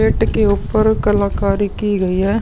Gate के उप्पर कलाकारी की गई है।